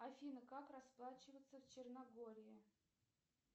афина как расплачиваться в черногории